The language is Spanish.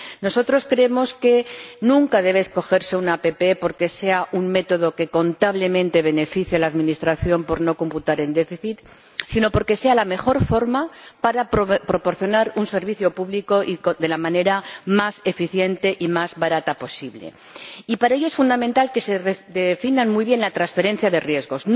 Nosotros creemos que nunca debe escogerse una APP porque sea un método que contablemente beneficia a la Administración por no computar en déficit, sino porque sea la mejor forma para proporcionar un servicio público de la manera más eficiente y más barata posible, y para ello es fundamental que se redefina muy bien la transferencia de riesgos.